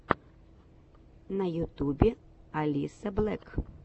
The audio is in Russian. на ютубе алисаблэк